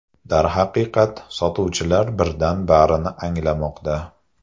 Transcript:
Darhaqiqat, sotuvchilar birdan barini anglamoqda.